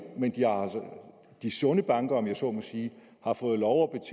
men de sunde banker om jeg så må sige har fået lov